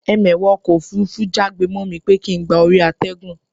Ẹmẹ̀wà ọkọ̀ òfurufú já gbe mọ́ mi pé kín gba orí àtẹ̀gùn